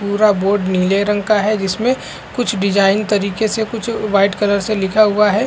पूरा बोर्ड नीले रंग का है जिसमें कुछ डिजाइन तरीके से कुछ व्हाइट कलर से लिखा हुआ है।